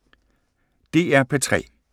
DR P3